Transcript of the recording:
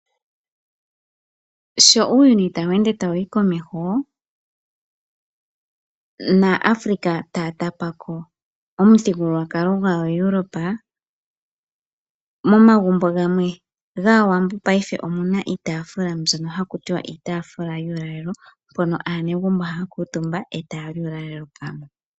Sho uuyuni tawu ende tawu yi komeho naAfrika taya tapa ko omuthigululwakalo gwaaEuropa momagumbo gamwe gaawambo paife omuna iitafula mbyono haku tiwa iitafula yuulalelo mpono aanegumbo haya kuutumba e taya li uulalelo pamwe.